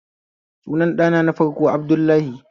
Sunan ɗana na farko Abdullahi